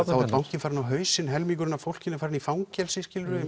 þá er bankinn farinn á hausinn helmingurinn af fólkinu farinn í fangelsi skiluru